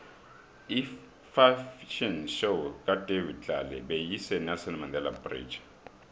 ifafhion show kadavid tlale beyise nelson mandele bridge